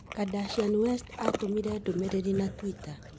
Kardashian West aatũmire ndũmĩrĩri na twitter.